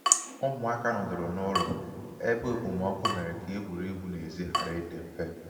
ụmụaka nọdụrụ n'ụlọ ebe okpomọkụ mere ka egwuregwu n'ezi ghara ịdị mfe